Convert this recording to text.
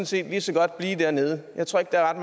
set lige så godt blive dernede jeg tror ikke der er